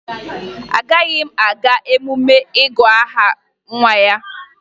Agaghị m aga emume ịgụ aha nwa ya